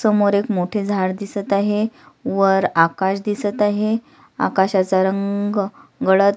समोर एक मोठे झाड दिसत आहे वर आकाश दिसत आहेआकाशाचा रंग गडद--